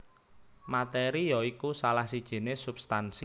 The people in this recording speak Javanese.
Materi ya iku salah sijiné substansi